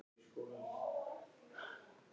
Kristján Már Unnarsson: Hvað um skattareglurnar?